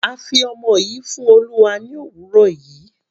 A fi ọmọ yìí fún Olúwa ní òwúrọ̀ yìí.